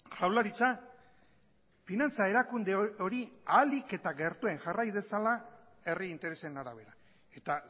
jaurlaritza finantza erakunde hori ahalik eta gertuen jarrai dezala herri interesen arabera eta